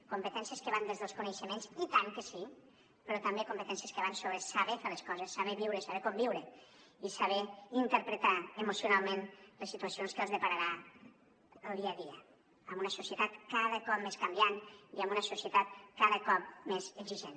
competències que van des dels coneixements i tant que sí però també competències que van sobre saber fer les coses saber viure saber conviure i saber interpretar emocionalment les situacions que els depararà el dia a dia en una societat cada cop més canviant i en una societat cada cop més exigent